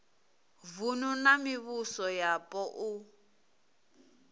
vunu na mivhuso yapo u